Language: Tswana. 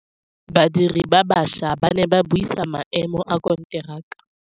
Badiri ba baša ba ne ba buisa maêmô a konteraka.